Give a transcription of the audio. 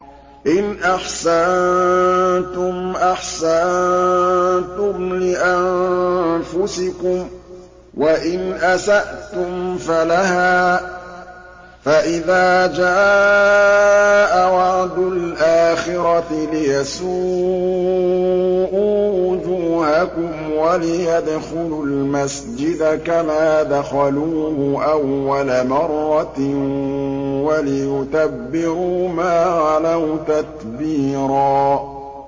إِنْ أَحْسَنتُمْ أَحْسَنتُمْ لِأَنفُسِكُمْ ۖ وَإِنْ أَسَأْتُمْ فَلَهَا ۚ فَإِذَا جَاءَ وَعْدُ الْآخِرَةِ لِيَسُوءُوا وُجُوهَكُمْ وَلِيَدْخُلُوا الْمَسْجِدَ كَمَا دَخَلُوهُ أَوَّلَ مَرَّةٍ وَلِيُتَبِّرُوا مَا عَلَوْا تَتْبِيرًا